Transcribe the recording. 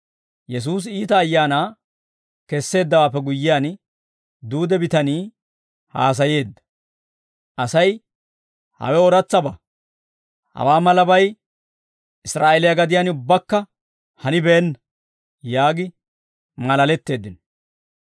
Yesuusi iita ayaanaa kesseeddawaappe guyyiyaan, duude bitanii haasayeedda. Asay, «Hawe ooratsabaa; hawaa malabay Israa'eeliyaa gadiyaan ubbakka hanibeenna» yaagi maalaletteeddino.